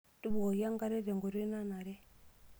Tubukoki enkare tenkoitoi nanare.